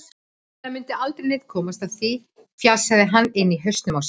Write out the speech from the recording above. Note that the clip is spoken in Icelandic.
Sennilega mundi aldrei neinn komast að því, fjasaði hann inni í hausnum á sér.